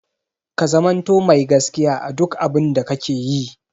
Ka zamanto mai gaskiya a duk abun da kake yi!